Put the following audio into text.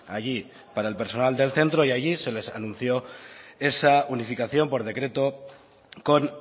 allí para el personal del centro y allí se les anunció esa unificación por decreto con